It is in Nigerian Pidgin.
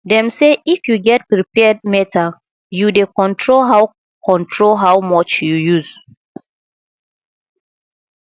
dem say if you get prepaid meter you dey control how control how much you use